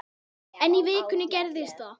En í vikunni gerðist það.